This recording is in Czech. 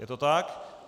Je to tak?